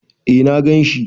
Eh na ganshi.